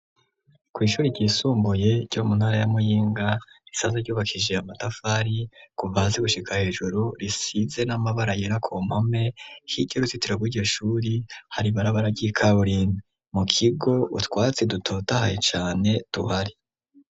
Kw'ishuri ryisumbuye ryo mu ntara ya Muyinga, risanzwe ryubakije amatafari kuva hasi gushika hejuru, risize n'amabara yera k'umpome, hirya y'uruzitiro rw'iryo shuri, har'ibarabara ry'ikaburimbi, mu kigo utwatsi dutota haye cane tuhari.